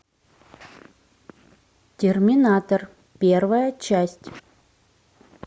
терминатор первая часть